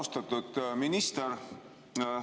Austatud minister!